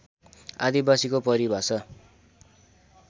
आदिवासीको परिभाषा